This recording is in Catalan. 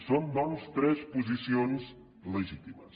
són doncs tres posicions legítimes